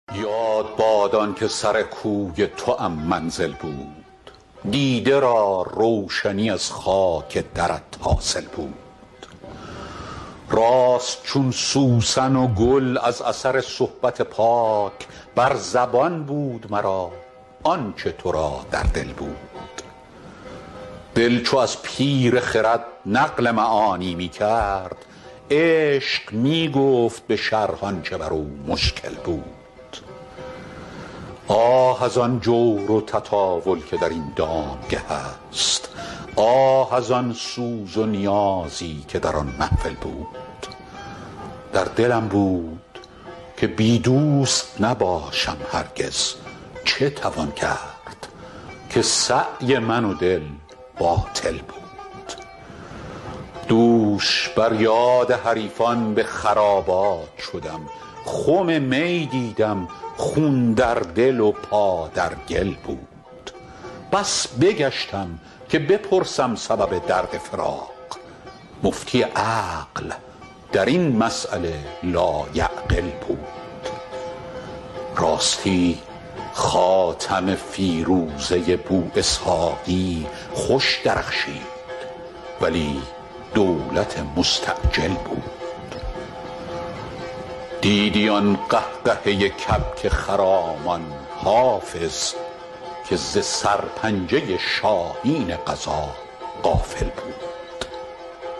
یاد باد آن که سر کوی توام منزل بود دیده را روشنی از خاک درت حاصل بود راست چون سوسن و گل از اثر صحبت پاک بر زبان بود مرا آن چه تو را در دل بود دل چو از پیر خرد نقل معانی می کرد عشق می گفت به شرح آن چه بر او مشکل بود آه از آن جور و تطاول که در این دامگه است آه از آن سوز و نیازی که در آن محفل بود در دلم بود که بی دوست نباشم هرگز چه توان کرد که سعی من و دل باطل بود دوش بر یاد حریفان به خرابات شدم خم می دیدم خون در دل و پا در گل بود بس بگشتم که بپرسم سبب درد فراق مفتی عقل در این مسأله لایعقل بود راستی خاتم فیروزه بواسحاقی خوش درخشید ولی دولت مستعجل بود دیدی آن قهقهه کبک خرامان حافظ که ز سرپنجه شاهین قضا غافل بود